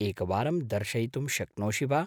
एकवारं दर्शयितुं शक्नोषि वा?